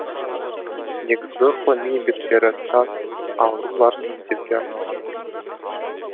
негізгі ғылыми еңбектері таз ауруларын емдеуге арналған